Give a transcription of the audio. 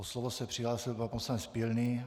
O slovo se přihlásil pan poslanec Pilný.